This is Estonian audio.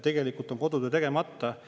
Tegelikult on kodutöö tegemata.